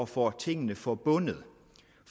få tingene forbundet